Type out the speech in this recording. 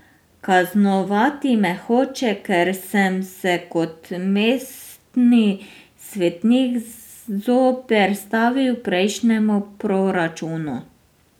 Kaznovati me hoče, ker sem se kot mestni svetnik zoperstavil prejšnjemu proračunu.